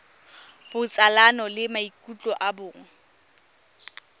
botsalano le maikutlo a bong